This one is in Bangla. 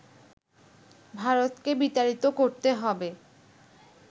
ভারতকে বিতাড়িত করতে হবে